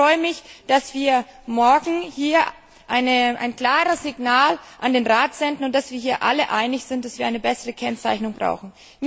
Ich freue mich, dass wir morgen hier ein klares Signal an den Rat senden und dass wir hier alle einig sind, dass wir eine bessere Kennzeichnung brauchen.